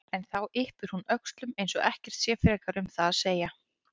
En þá yppir hún öxlum eins og ekkert sé frekar um það að segja.